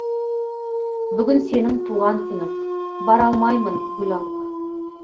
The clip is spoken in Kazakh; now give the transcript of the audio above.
бүгін сенің туған күнің бара алмаймын гүл алып